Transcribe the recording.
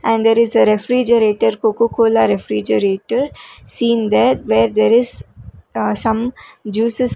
and there is a refrigerator coca cola refrigerator seeing that where there is some juices--